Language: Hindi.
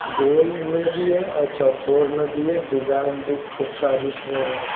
गोल में भी है और चौकोर में भी है डिजाइन भी खूब सारी इसमें है।